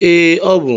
Ee, ọ bụ.